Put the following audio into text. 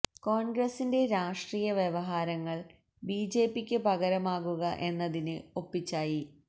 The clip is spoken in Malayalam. കോണ്ഗ്രസിന്റെ രാഷ്ട്രീയ വ്യവഹാരങ്ങള് ബി ജെ പിക്ക് പകരമാകുക എന്നതിന് ഒപ്പിച്ചായി